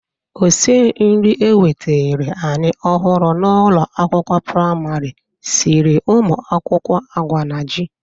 Osi nri ewetere anyị ọhụrụ n'ụlọ akwụkwọ prịmarị siri ụmụ akwụkwọ agwa na ji.